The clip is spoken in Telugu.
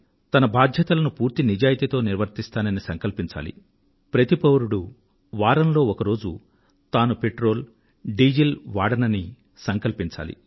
తన బాధ్యతలను పూర్తి నిజాయితీతో నిర్వర్తిస్తానని సంకల్పించాలి ప్రతి పౌరుడూ వారంలో ఒక రోజు తాను పెట్రోల్ డీజిల్ వాడనంటూ సంకల్పం చెప్పుకోవాలి